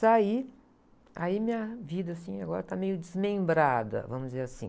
Saí, aí minha vida assim agora está meio desmembrada, vamos dizer assim.